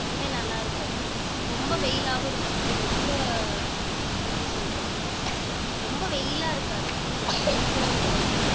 எப்பவுமே நல்லா இருக்கும் ரொம்ப வெயிலாவும் இருக்காது ரொம்ப எப்படி சொல்றது ரொம்ப வெயிலா இருக்காது ஊரு கொஞ்சம்